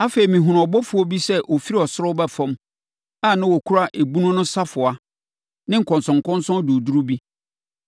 Afei, mehunuu ɔbɔfoɔ bi sɛ ɔfiri ɔsoro reba fam a na ɔkura ebunu no safoa ne nkɔnsɔnkɔnsɔn duruduru bi.